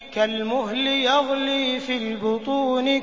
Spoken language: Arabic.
كَالْمُهْلِ يَغْلِي فِي الْبُطُونِ